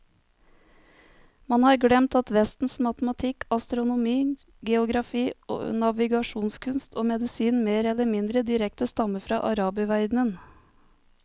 Man har glemt at vestens matematikk, astronomi, geografi, navigasjonskunst og medisin mer eller mindre direkte stammer fra araberverdenen.